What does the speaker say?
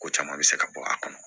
Ko caman bɛ se ka bɔ a kɔnɔ